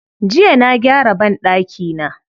Jiya na gyara banɗakina.